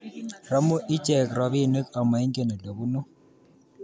Romu ichek robinik ama ingen olebunu